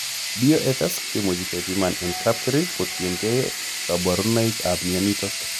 BOFS komuch kepiman en kapkerich kotiengei kaborunoik ab myonitok